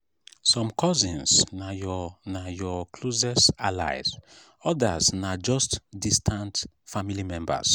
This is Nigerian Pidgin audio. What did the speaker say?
some cousins na your na your closest allies others na just distant family members.